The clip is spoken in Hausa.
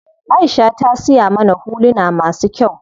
Aisha ta siya mana huluna masu kyau.